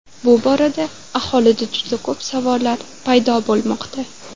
Bu borada aholida juda ko‘p savollar paydo bo‘lmoqda.